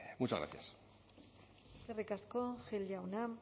muchas gracias eskerrik asko gil jauna